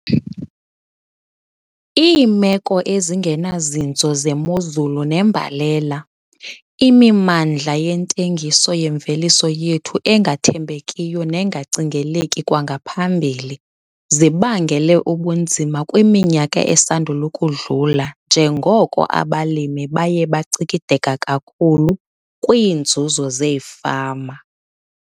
Iimeko ezingenazinzo zemozulu nembalela, imimandla yentengiso yemveliso yethu engathembekiyo nengacingeleki kwangaphambili - zibangele ubunzima kwiminyaka esandul' ukudlula njengoko abalimi baye bacikideka kakhulu kwiinzuzo zeefama.